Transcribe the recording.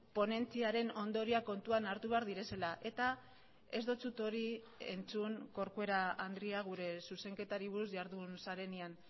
ponentziaren ondorioak kontuan hartu behar direla eta ez dizut hori entzun corcuera andrea gure zuzenketari buruz jardun zarenean